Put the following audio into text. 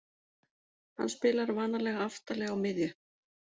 Hann spilar vanalega aftarlega á miðju.